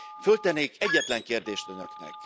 Föltennék egyetlen kérdést Önöknek.